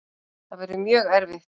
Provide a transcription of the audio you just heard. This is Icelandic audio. Það verður mjög erfitt.